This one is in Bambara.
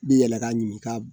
I bɛ yɛlɛn k'a ɲini ka